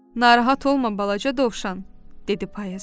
Narahat olma balaca dovşan, dedi payız.